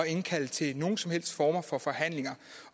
indkalde til nogen som helst form for forhandling